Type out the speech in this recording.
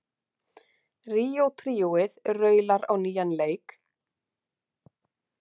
Ríó tríóið raular á nýjan leik